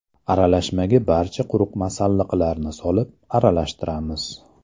Aralashmaga barcha quruq masalliqlarni solib, aralashtiramiz.